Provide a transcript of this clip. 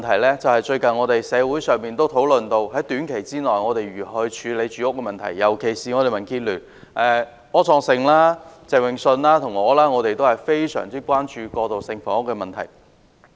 另一個是近日社會亦討論到的問題，即在短期內應如何處理住屋問題，而民主建港協進聯盟的柯創盛議員、鄭泳舜議員和我均尤其關注過渡性房屋的問題。